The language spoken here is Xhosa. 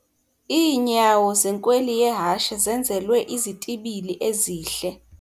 Iinyawo zenkweli yehashe zenzelwe izitibili ezihle.